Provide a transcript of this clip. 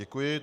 Děkuji.